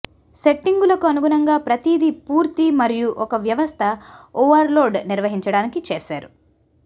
సెట్టింగులకు అనుగుణంగా ప్రతిదీ పూర్తి మరియు ఒక వ్యవస్థ ఓవర్లోడ్ నిర్వహించడానికి చేశారు